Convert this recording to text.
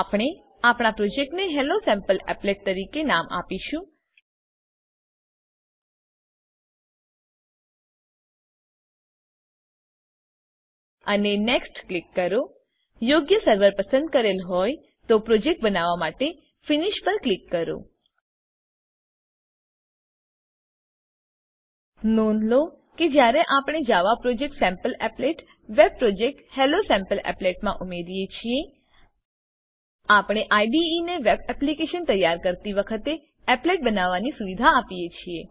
આપણે આપણા પ્રોજેક્ટને હેલોસેમ્પલીપલેટ તરીકે નામ આપીશું અને નેક્સ્ટ ક્લિક કરો યોગ્ય સર્વર પસંદ કરેલ હોય તો પ્રોજેક્ટ બનવા માટે ફિનિશ પર ક્લિક કરો નોંધ લો કે કે જયારે આપણે જાવા પ્રોજેક્ટSampleApplet વેબ પ્રોજેક્ટ હેલોસેમ્પલીપલેટ મા ઉમેરીએ છીએ આપણે IDEને વેબ એપ્લીકેશન તૈયાર કરતી વખતે appletબનાવવાની સુવિધા આપીએ છે